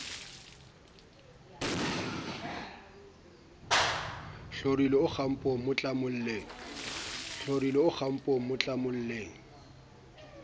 hlorile o kgapong mo tlamolleng